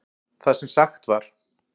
Það sem sagt var